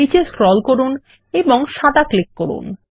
নীচে স্ক্রোল করুন এবং সাদা ক্লিক করুন